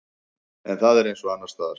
En það er eins og annarsstaðar.